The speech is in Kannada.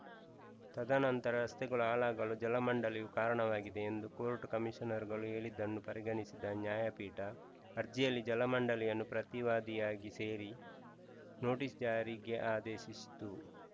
ತದನಂತರ ರಸ್ತೆಗಳು ಹಾಳಾಗಲು ಜಲಮಂಡಳಿಯು ಕಾರಣವಾಗಿದೆ ಎಂದು ಕೋರ್ಟ್‌ ಕಮೀಷನರ್‌ಗಳು ಹೇಳಿದನ್ನು ಪರಿಗಣಿಸಿದ ನ್ಯಾಯಪೀಠ ಅರ್ಜಿಯಲ್ಲಿ ಜಲಮಂಡಳಿಯನ್ನು ಪ್ರತಿವಾದಿಯಾಗಿ ಸೇರಿ ನೋಟಿಸ್‌ ಜಾರಿಗೆ ಆದೇಶಿಸಿತು